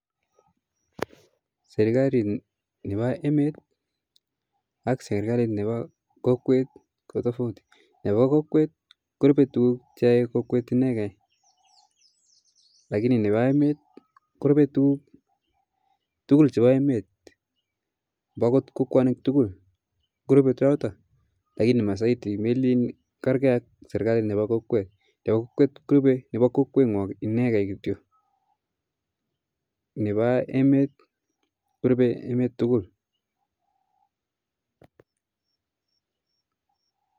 Serikalit nepa emet ak nepa serikalit nepa kokwet ko tofauti, nepa kokwet korupe tukuk che ae kokwet ineke, lakini nepo emet korupe tukuk tukul che pa emet, mbakot kokwanik tukul korupe choto lakini masaiti melin karke ak serikalit nepo kokwet, nepo kokwet korupe nepo kokwet ngwong ineke, nepa emet korupe emet tukul